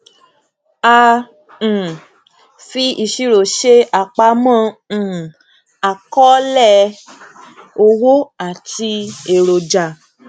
a um fi ìṣirò ṣe àpamọ um àkọọlẹ owó àti eroja